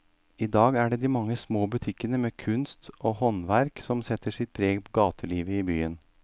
I dag er det de mange små butikkene med kunst og håndverk som setter sitt preg på gatelivet i byen.